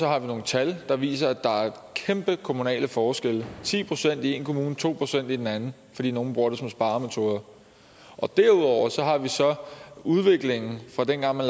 har vi nogle tal der viser at der er kæmpe kommunale forskelle ti procent i en kommune to procent i en anden fordi nogle bruger det som sparemetode og derudover har vi så udviklingen fra dengang man